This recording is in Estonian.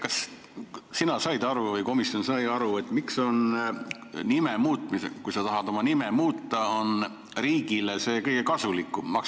Kas sina said aru või komisjon sai aru, miks on see, kui sa tahad oma nime muuta, riigile kõige kasulikum?